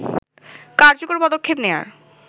কার্যকর পদক্ষেপ নেয়ার